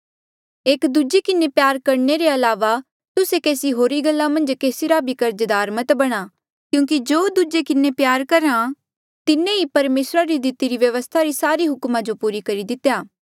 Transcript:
एकी दूजे किन्हें प्यार करणे रे अलावा तुस्से केसी होरी गल्ला मन्झ केसी रा भी कर्जदार मत बणा क्यूंकि जो दूजे किन्हें प्यार रख्हा तिन्हें ई परमेसरा री दितिरी व्यवस्था री सारे हुकमा जो पूरा कितेया